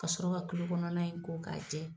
Ka sɔrɔ ka kulo kɔnɔna in ko k'a jɛ.